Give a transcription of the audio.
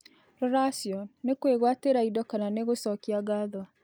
Ruracĩo; nĩ kwĩgwatĩra ĩndo kana nĩ gũcokĩa ngatho?